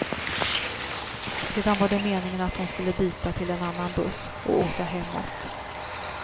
Sedan var det meningen att hon skulle byta till en annan buss och åka hemåt.